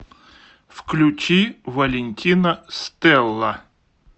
включи валентина стэлла